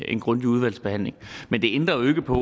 en grundig udvalgsbehandling men det ændrer jo ikke på